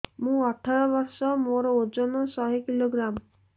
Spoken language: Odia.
ମୁଁ ଅଠର ବର୍ଷ ମୋର ଓଜନ ଶହ କିଲୋଗ୍ରାମସ